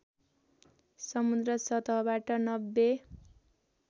समुन्द्र सतहबाट ९०